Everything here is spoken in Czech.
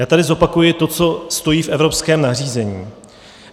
Já tady zopakuji to, co stojí v evropském nařízení.